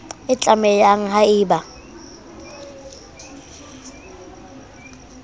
e tlamang ha e ba